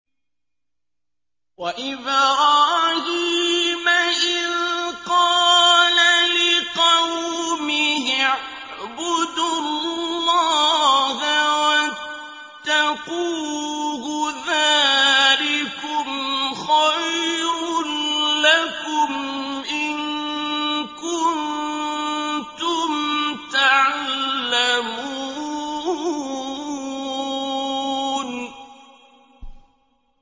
وَإِبْرَاهِيمَ إِذْ قَالَ لِقَوْمِهِ اعْبُدُوا اللَّهَ وَاتَّقُوهُ ۖ ذَٰلِكُمْ خَيْرٌ لَّكُمْ إِن كُنتُمْ تَعْلَمُونَ